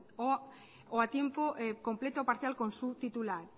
o a tiempo completo parcial con su titular